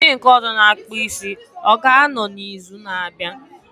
Onye nke ọzọ na akpụ isi, ọ ga anọ na izu na abịa?